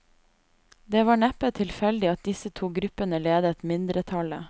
Det var neppe tilfeldig at disse to gruppene ledet mindretallet.